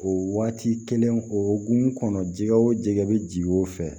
O waati kelen o hokumu kɔnɔ jɛgɛ o jɛgɛ be ji o fɛ